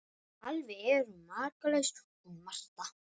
Alveg er hún makalaus hún Marta!